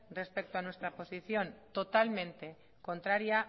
respecto a nuestra posición totalmente contraria